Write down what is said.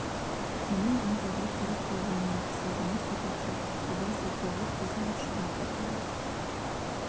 мұның аңтарылып қарап қалғанына қысылды ма сопақша аққұба жүз лып қызарып шыға келген